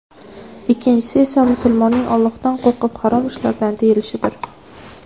Ikkinchisi esa musulmonning Allohdan qo‘rqib harom ishlardan tiyilishidir”.